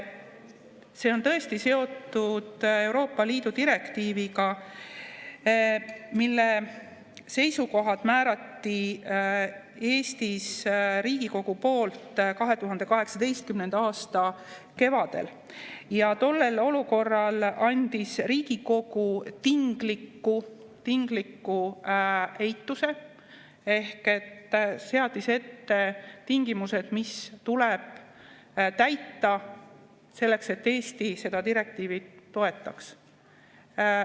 See on tõesti seotud Euroopa Liidu direktiiviga, mille seisukohad otsustati Eestis Riigikogu poolt 2018. aasta kevadel ja tookord andis Riigikogu tingliku eituse ehk seadis tingimused, mis tuleb täita selleks, et Eesti seda direktiivi toetaks.